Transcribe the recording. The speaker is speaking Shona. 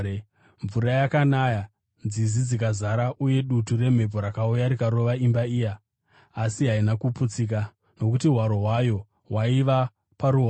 Mvura yakanaya, nzizi dzikazara, uye dutu remhepo rakauya rikarova imba iya, asi haina kuputsika, nokuti hwaro hwayo hwaiva paruware.